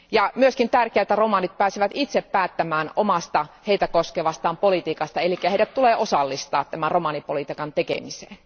On myös tärkeätä, että romanit pääsevät itse päättämään omasta, heitä koskevasta politiikastaan eli heidät tulee osallistaa romanipolitiikan tekemiseen.